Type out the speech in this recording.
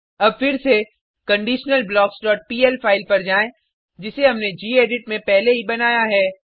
अब फिर से conditionalblocksपीएल फाइल पर जाएँ जिसे हमने गेडिट में पहले ही बनाया है